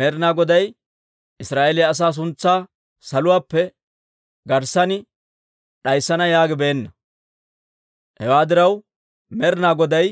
Med'ina Goday Israa'eeliyaa asaa suntsaa saluwaappe garssan d'ayssana yaagibeenna. Hewaa diraw, Med'ina Goday